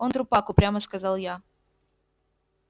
он трупак упрямо сказал я